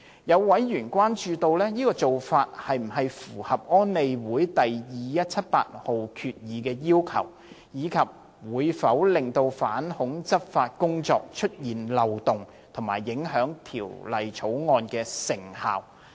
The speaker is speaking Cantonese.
有委員關注，這種做法是否符合安理會第2178號決議的要求，以及會否令反恐執法工作出現漏洞，以及影響《條例草案》的成效。